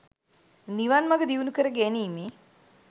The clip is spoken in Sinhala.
නිවන් මග දියුණු කර ගැනීමේ